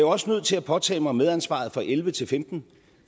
også nødt til at påtage mig medansvaret for og elleve til femten